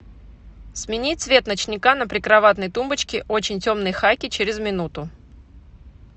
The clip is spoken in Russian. смени цвет ночника на прикроватной тумбочке очень темный хаки через минуту